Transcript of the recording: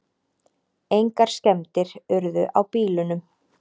Engar skemmdir urðu á bílunum